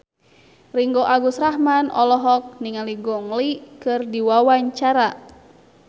Ringgo Agus Rahman olohok ningali Gong Li keur diwawancara